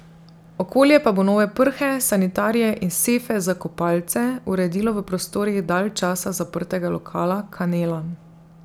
Okolje pa bo nove prhe, sanitarije in sefe za kopalce uredilo v prostorih dalj časa zaprtega lokala Kanela.